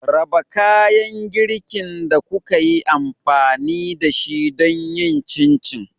Raba kayan girkin da kuka yi amfani da shi don yin Chin chin.